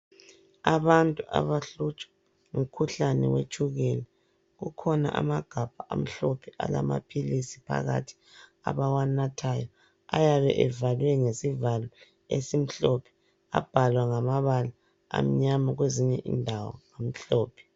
Abantu abahlutshwa ngumkhuhlane wetshukela. Kukhona amaghabha amhlophe alamaphilisi phakathi abawanathayo. Ayabe evalwe ngesivalo esimhlophe. Abhalwa ngamabala amnyama kwezinye indawo amhlophe.